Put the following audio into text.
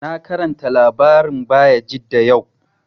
Na karanta labarin Bayajidda yau